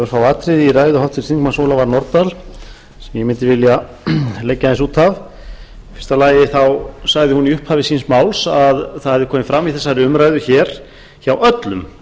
örfá atriði í ræðu háttvirts þingmanns ólafar nordal sem ég mundi vilja leggja aðeins út af í fyrsta lagi sagði hún í upphafi síns máls að það hefði komið fram í þessari umræðu hér hjá öllum